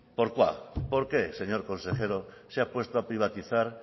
por qué señor consejero se ha puesto a privatizar